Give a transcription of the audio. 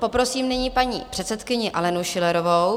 Poprosím nyní paní předsedkyni Alenu Schillerovou.